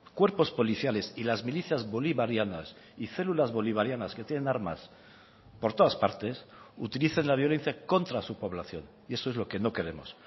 cuerpos policiales y las milicias bolivarianas y células bolivarianas que tienen armas por todas partes utilicen la violencia contra su población y eso es lo que no queremos